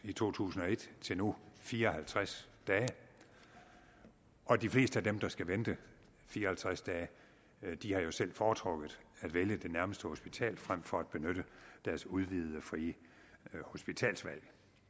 i to tusind og et til nu fire og halvtreds dage og de fleste af dem der skal vente fire og halvtreds dage har jo selv foretrukket at vælge det nærmeste hospital frem for at benytte deres udvidede frie hospitalsvalg